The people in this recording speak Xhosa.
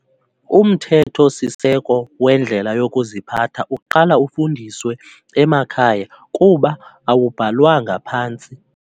Umthetho-siseko wendlela yokuziphatha uqala ufundiswe emakhaya kuba awubhalwanga phantsi.